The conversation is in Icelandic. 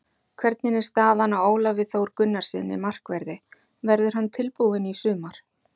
Hvernig er staðan á Ólafi Þór Gunnarssyni, markverði, verður hann tilbúinn í sumar?